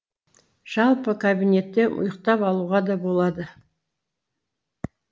жалпы кабинетте ұйықтап алуға да болады